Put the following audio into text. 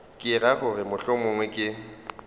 ke ra gore mohlomongwe ke